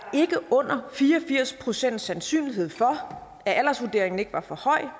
under fire og firs procent sandsynlighed for at aldersvurderingen ikke var for høj